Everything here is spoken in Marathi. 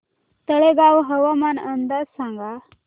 तळेगाव हवामान अंदाज सांगा